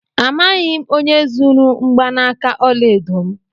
Amaghị m onye zuru mgbanaka ọla edo m.